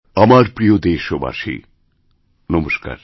আমারপ্রিয় দেশবাসী নমস্কার